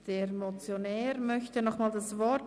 Der Motionär möchte nochmals das Wort.